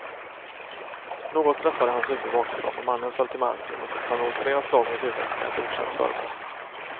Något träffade hans huvud bakifrån och mannen föll till marken och fick ta emot flera slag mot huvudet med ett okänt föremål.